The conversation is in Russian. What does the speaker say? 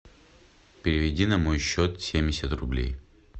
переведи на мой счет семьдесят рублей